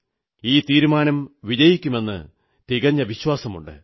ഈ തീരുമാനം വിജയിപ്പിക്കുമെന്ന് തികഞ്ഞ വിശ്വാസമുണ്ട്